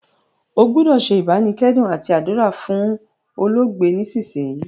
O gbúdò se ìbánikẹ́dùn àti àdúrà fún olóògbé nísinsìnyì